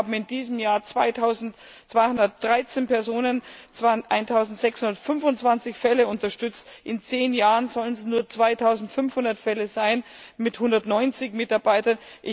Wir haben in diesem Jahr 2213Personen es waren 1625Fälle unterstützt, in zehn Jahren sollen es nur 2500 Fälle sein mit 190Mitarbeitern.